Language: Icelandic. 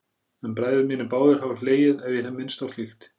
En bræður mínir báðir hafa hlegið ef ég hef minnst á slíkt.